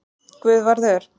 Guðvarður